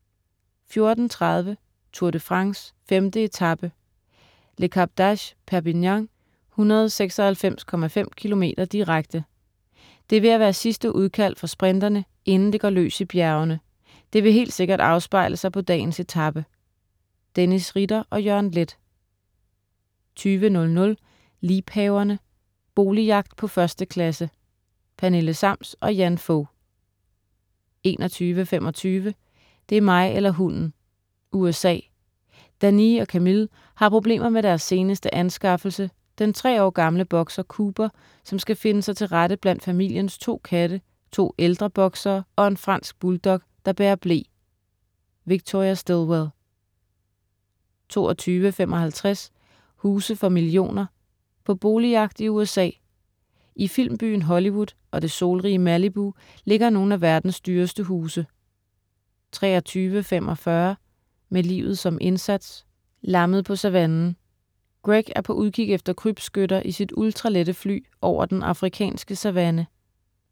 14.30 Tour de France: 5. etape, Le Cap d'Agde-Perpignan, 196,5 km direkte, Det er ved at være sidste udkald for sprinterne, inden det går løs i bjergene. Det vil helt sikkert afspejle sig på dagens etape. Dennis Ritter og Jørgen Leth 20.00 Liebhaverne. Boligjagt på 1. klasse. Pernille Sams & Jan Fog 21.25 Det er mig eller hunden! USA. Danee og Camille har problemer med deres seneste anskaffelse, den tre år gamle boxer Cooper, som skal finde sig til rette blandt familiens to katte, to ældre boxere og en fransk bulldog, der bærer ble. Victoria Stilwell 22.55 Huse for millioner. På boligjagt i USA, I filmbyen Hollywood og det solrige Malibu ligger nogle af verdens dyreste huse 23.45 Med livet som indsats, "Lammet på savannen". Greg er på udkig efter krybskytter i sit ultralette fly over den afrikanske savanne